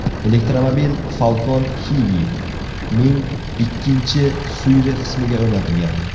Elektromobil Falcon Heavy’ning ikkinchi suyri qismiga o‘rnatilgan.